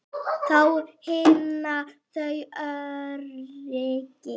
Þá finna þau öryggi.